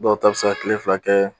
Dɔw ta be se ka tile fila kɛɛ